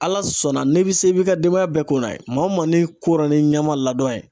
Ala sɔnna n'i bɛ se b'i ka denbaya bɛɛ ko n'a ye maa o maa n'i y'i ko ni ɲɛma ladɔn ye